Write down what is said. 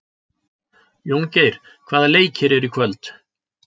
Jóngeir, hvaða leikir eru í kvöld?